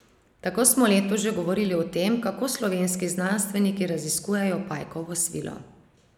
Tako smo letos že govorili o tem, kako slovenski znanstveniki raziskujejo pajkovo svilo.